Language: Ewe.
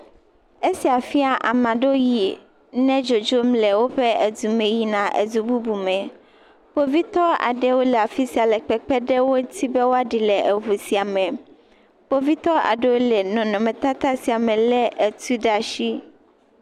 Esia fia ame ɖewo yi wo dzodzom le woƒe dume yina edu bubume. Kpovitɔ ɖewo le afi sia le kpekpe ɖe wo ŋuti be woaɖi le eŋu sia me. Kpovitɔ aɖewo le nɔnɔmetata sia me lé etu ɖa ashi.